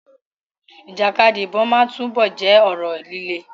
Ìjàkadì ìbọn máa túbọ̀ jẹ́ ọ̀rọ̀ líle.